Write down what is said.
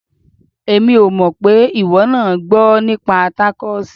Èmi ò pé ìwọ náà gbọ́ nípa tákóòsì.